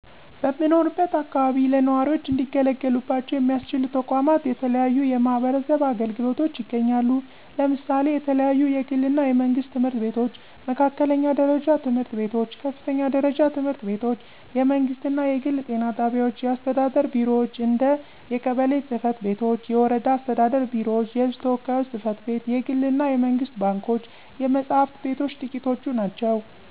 በምኖርበት አከባቢ ለነዋሪዎች እንዲገለገሉባቸው ሚያስችሉ ተቋማት የተለያዩ የማህበረሰብ አገልግሎቶች ይገኛሉ። ለምሳሌ የተለያዩ የግል እና የመንግስት ትምህርት ቤቶች፣ መካከለኛ ደረጃ ትምህርት ቤቶች፣ ከፍተኛ ደረጃ ትምህርት ቤቶች፣ የመንግስት እና የግል ጤና ጣቢያዎች፣ የአስተዳደር ቢሮዎች እንደ የቀበሌ ፅ/ቤቶች፤ የወረዳ አስተዳደር ቢሮዎች፤ የህዝብ ተወካዮች ጽ/ቤት፣ የግል እና የመንግስት ባንኮች፣ የመፅሐፍት ቤቶች ጥቂቶቹ ናቸው።